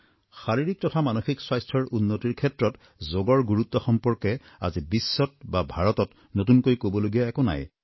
শাৰীৰিক তথা মানসিক স্বাস্থ্যৰ উন্নতিৰ ক্ষেত্ৰত যোগৰ গুৰুত্ব সম্পৰ্কে আজি বিশ্বত বা ভাৰতত নতুনকৈ কবলগীয়া একো নাই